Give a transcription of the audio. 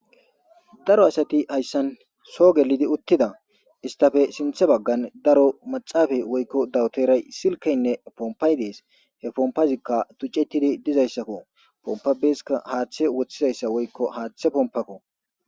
daro asati hayssan soo gelidi uttida istafe sinthe baggan daro maxaafa woykko dawteray silkaynne pompay dees he pompazikka tucetidi dizayssakko pompabeskka haaththe woththizayssa woykko haaththe pompako